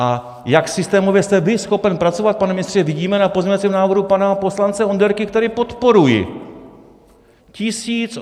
A jak systémově jste vy schopen pracovat, pane ministře, vidíme na pozměňovacím návrhu pana poslance Onderky, který podporuji.